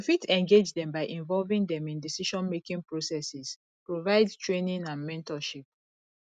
we fit engage dem by involving dem in decisionmaking processes provide training and mentorship